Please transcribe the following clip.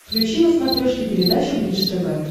включи на смотрешке передачу бридж тв